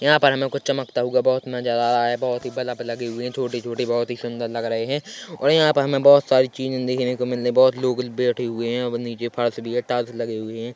यहां पर हमे कुछ चमकता हुआ बहुत नजर आ रहा है बहुत ही बल्ब लगे हुए है छोटे-छोटे बहुत ही सुंदर लग रहे है और यहाँ पर हमे बहुत सारी चीजे देखने को मिल रही बहुत लोग बैठे हुए है नीचे फर्श भी है टॉर्च लगे हुए है।